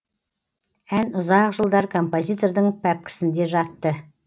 ән ұзақ жылдар композитордың пәпкісінде жатты